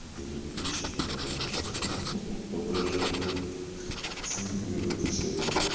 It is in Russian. не даёт пищу для моего воображения смотри как она отвечает